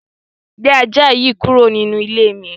Gbé ajá yìí kúrò nínú ilé mi!